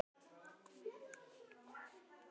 Pabbi ræddi það aldrei.